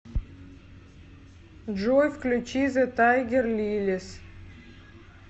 джой включи зе тайгер лилис